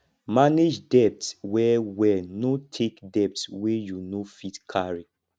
manage debt well well no take debt wey you no fit carry